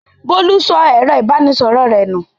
Bólú sọ ẹ̀rọ-ìbánisọ̀rọ̀ rẹ̀ nù.